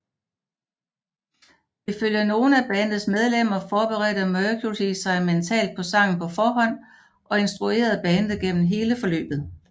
Ifølge nogle af bandets medlemmer forberedte Mercury sig mentalt på sangen på forhånd og instruerede bandet gennem hele forløbet